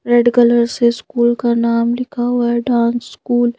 red colour से school का नाम लिखा हुआ है डांस स्कूल